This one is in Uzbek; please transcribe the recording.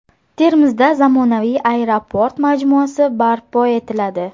Termizda zamonaviy aeroport majmuasi barpo etiladi.